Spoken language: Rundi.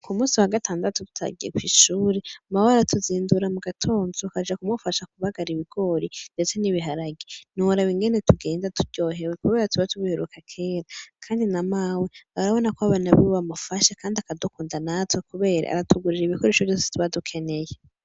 Ku musi wa gatandatu tutagiye kw'ishure mawe aratuzindura mu gatonzu ka aja kumufasha kubagara ibigori, ndetse n'ibiharagie niora bingene tugenza turyohewe, kubera tuba tubihiruka kera, kandi na mawe barabona ko babanu biwe bamufashe, kandi akadokunda natwo, kubera aratugurira ibikoresho vyose tubadukeneye.